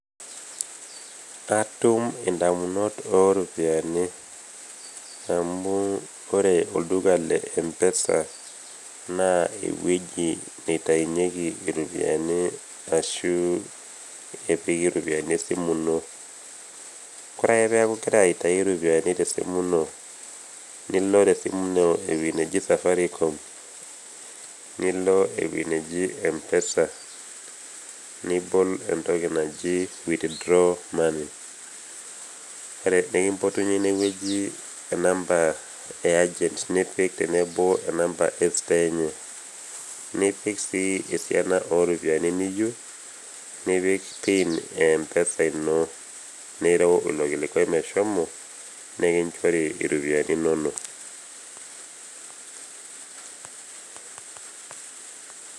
Katum indamunot oropiyani amu ore olduka le empesa naa ewueji naitainyeki iropiani ashuu epiki ropiyani esimu ino. Ore ake peaku igira autayu ropiyani  tesimu ino nilo tesimu ino ewuei naji safarikom, nilo ewuei neji empesa, nibol entoki naji withdraw money, ore peekimbotunye inewueji enamba e agent nipik tenebo enamba estoo enye, nipik sii esiana ooropiyani niyou nipik pin empesa ino nireu ilo kilikuei meshomo nikinchori iropiyani inono.